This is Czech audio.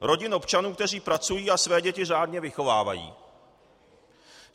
Rodin občanů, kteří pracují a své děti řádně vychovávají.